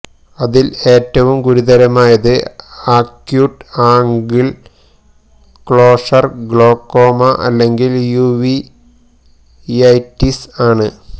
അതില് ഏറ്റവും ഗുരുതരമായത് അക്യൂട്ട് ആംഗിള് ക്ലോഷര് ഗ്ലോക്കോമ അല്ലെങ്കില് യുവിയൈറ്റിസ് ആണ്